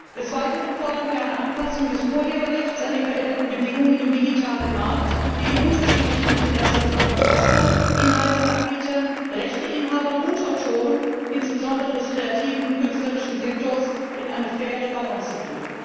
Des Weiteren fordern wir eine Anpassung des Urheberrechts an die veränderten Bedingungen im digitalen Markt, durch die die unterschiedlichen Interessen von Verbrauchern, Inhalteanbietern, Rechteinhabern und Autoren insbesondere des kreativen künstlerischen Sektors in eine faire Balance gebracht werden.